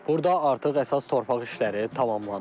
Burda artıq əsas torpaq işləri tamamlanıb.